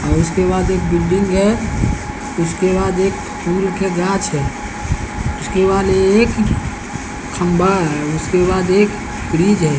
उसके बाद एक बिल्डिंग है उसके बाद एक फूल के गाछ है उसके बाद एक खंभा है उसके बाद एक ब्रिज है।